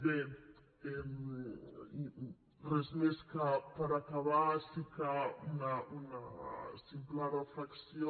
bé només per acabar sí que una simple reflexió